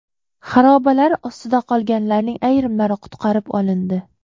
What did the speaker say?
Xarobalar ostida qolganlarning ayrimlari qutqarib olindi.